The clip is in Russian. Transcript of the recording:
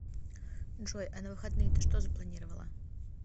джой а на выходные ты что запланировала